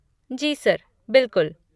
जी sir, बिलकुल।